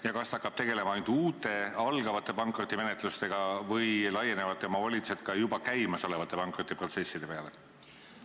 Ja kas ta hakkab tegelema ainult uute, algavate pankrotimenetlustega või laienevad tema volitused ka juba käimasolevate pankrotiprotsesside peale?